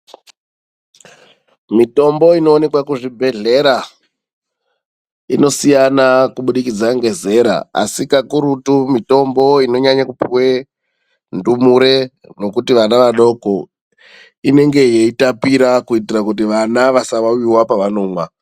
Mitombo inoonekwa kuzvibhendlera inosiyana kubudikidza ngezera. Asi kakurutu mitombo inonyanyakupuwe kupuwe ndumure nekuti vana vadoko. Inenge yeitapira kuitira kuitira kuti vana vasawawiwa pavanomwa.